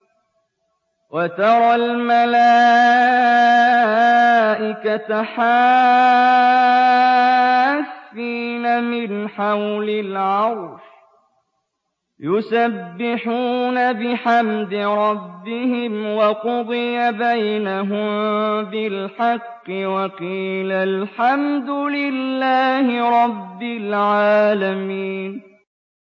وَتَرَى الْمَلَائِكَةَ حَافِّينَ مِنْ حَوْلِ الْعَرْشِ يُسَبِّحُونَ بِحَمْدِ رَبِّهِمْ ۖ وَقُضِيَ بَيْنَهُم بِالْحَقِّ وَقِيلَ الْحَمْدُ لِلَّهِ رَبِّ الْعَالَمِينَ